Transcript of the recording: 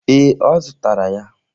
Ee, Ọ zụtara ya.